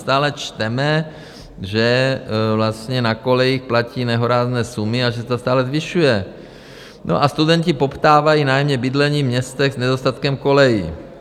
Stále čteme, že na kolejích platí nehorázné sumy a že se to stále zvyšuje, a studenti poptávají nájemní bydlení v městech s nedostatkem kolejí.